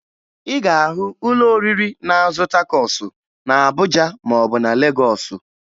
Ị ga-ahụ ụlọ oriri na-azụ takosu na Abuja maọbụ na Legọọsụ